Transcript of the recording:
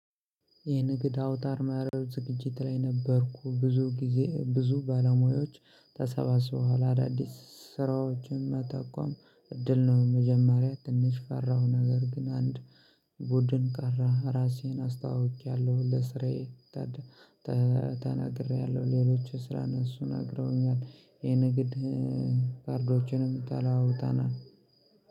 የንግድ አውታረ መረብ ዝግጅት ላይ ነበርኩ፤ ብዙ ጊዜ ብዙ ባለሙያዎች ተሰባስበው አዳዲስ ስራዎችን የሚጠቁሙበት እድል ነው፤ መጀመሪያ ትንሽ ፈራሁ፣ ነገር ግን ወደ አንድ ቡድን ቀርቤ ራሴን አስተዋውቄአለሁ፣ ለሥራዬ ተናግሬአለሁ፤ ሌሎችም ስለ ሥራቸው ነግረውኛል፤ ይህ የንግድ ካርዶችን ተለዋውጠናል።